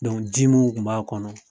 ji mun kun b'a kɔnɔ.